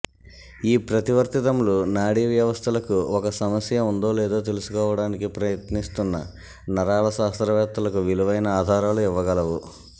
ఈ ప్రతివర్తితములు నాడీ వ్యవస్థలకు ఒక సమస్య ఉందో లేదో తెలుసుకోవడానికి ప్రయత్నిస్తున్న నరాల శాస్త్రవేత్తలకు విలువైన ఆధారాలు ఇవ్వగలవు